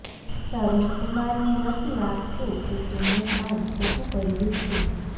તરુણકુમારને નથી લાગતું કે તેમણે કાંઈ ખોટું કર્યું છે